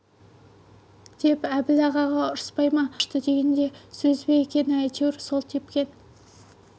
деп әбіл ағаға ұрыспай ма доп ауа ұшты деген де сөз бе екен әйтеуір сол тепкен